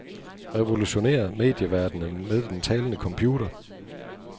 Revolutionér medieverdenen med den talende computer.